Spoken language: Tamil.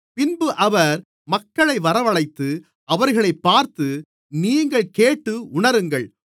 பின்பு அவர் மக்களை வரவழைத்து அவர்களைப் பார்த்து நீங்கள் கேட்டு உணருங்கள்